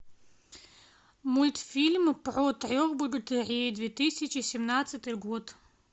мультфильм про трех богатырей две тысячи семнадцатый год